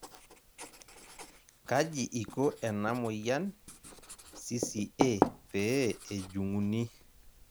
kaji iko ena moyian CCA pee ejung'uni?